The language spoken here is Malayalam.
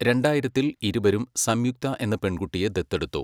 രണ്ടായിരത്തിൽ ഇരുവരും സംയുക്ത എന്ന പെൺകുട്ടിയെ ദത്തെടുത്തു.